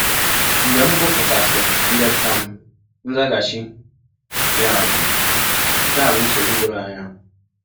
Mgbe m gụpụtasịrị ndepụta m, nzaghachi ya bụ: “ Nke a bụ nsọgbụ dọrọ anya.